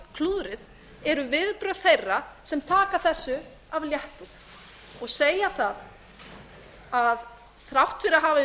klúðrið er viðbrögð þeirra sem taka þessu af léttúð og segja að þrátt fyrir að mistök hafi